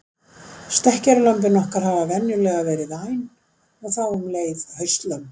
Stekkjarlömbin okkar hafa venjulega verið væn og þá um leið haustlömbin.